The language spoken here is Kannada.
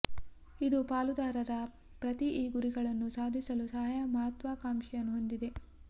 ಇದು ಪಾಲುದಾರರ ಪ್ರತಿ ಈ ಗುರಿಗಳನ್ನು ಸಾಧಿಸಲು ಸಹಾಯ ಮಹತ್ವಾಕಾಂಕ್ಷೆಯನ್ನು ಹೊಂದಿದೆ